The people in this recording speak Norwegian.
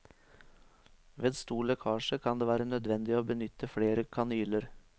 Ved stor lekkasje kan det være nødvendig å benytte flere kanyler.